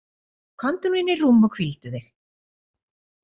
Komdu nú inn í rúm og hvíldu þig.